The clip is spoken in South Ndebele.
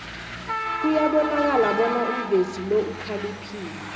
kuyabonakala bona umvezi lo ukhaliphile